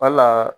Wala